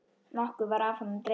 Nokkuð var af honum dregið.